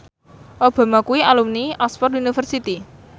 Obama kuwi alumni Oxford university